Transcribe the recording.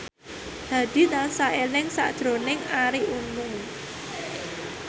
Hadi tansah eling sakjroning Arie Untung